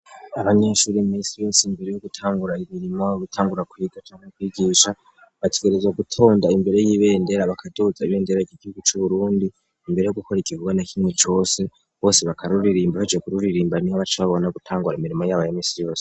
abanyeshuri ministiri yose imbere yo gutangura imirimo gutangura kwiga cangwa kwigisha bategereza gutonda imbere y'ibendera bakaduutsa ibendera gigigica uburundi imbere yo gukora igivuga na kinwe cose bose bakarruririmba bacekururirimba nibo bace babona gutangura imirimo y'abaya mistiri bose